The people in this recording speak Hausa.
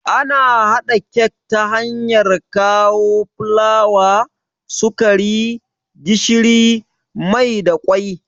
Ana haɗa kek ta hanyar kawo fulawa, sukari, gishiri, mai da kwai